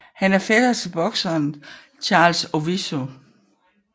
Han er fætter til bokseren Charles Owiso